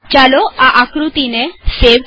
ચાલો આ આકૃતિનો સંગ્રહસેવ કરીએ